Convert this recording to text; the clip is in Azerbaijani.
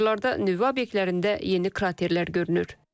Kadrlarda nüvə obyektlərində yeni kraterlər görünür.